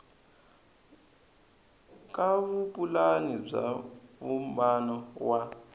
ka vupulani bya vumbano wa